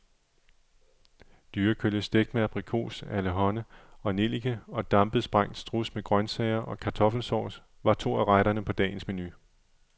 Dyrekølle stegt med abrikos, allehånde og nellike og dampet, sprængt struds med grøntsager og kartoffelsovs var to af retterne på dagens menu.